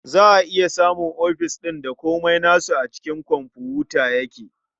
Za a iya samun ofis ɗin da komai nasu a cikin komfuta yake.